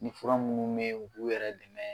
Ni fura munnu me ye k'u yɛrɛ dɛmɛ